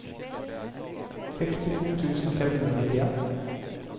sekstito tusen fem hundre og nittien